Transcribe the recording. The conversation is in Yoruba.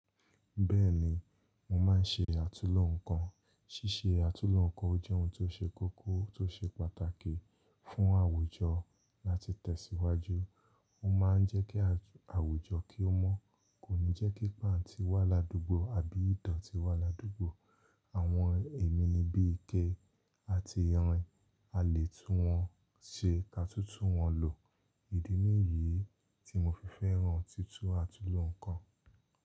Bẹ́ẹ̀ni, mo máa ń ṣe àtulò ǹkan. Sísé àtulò ǹkan ò jẹ́ ohun tó ṣe kókó tó ṣe pàtàkì fún àwùjọ láti tẹ̀síwájú. Ñ máa ń jẹ́kí àwùjọ kí ó mọ́ kò ní jẹ́kí páǹtí wà ládùúgbò àbí ìdọ̀tí wà ládùúgbò. Àwọn èmi ni bí ike àti irin a lè tún wọn ṣe ka tútù wọn lò. Ìdí nìyí tí mo fi fẹ́ràn títú àtulò ǹkan.